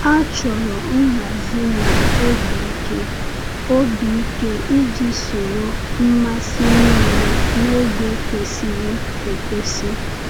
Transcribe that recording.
A chọrọ nhazi na obi ike obi ike iji soro mmasị niile n’oge kwesịrị ekwesị.